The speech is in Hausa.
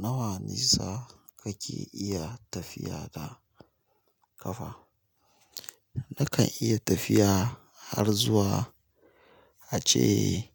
Nawa nisa kake iya tafiya da ƙafa? Nakan iya tafiya har zuwa ace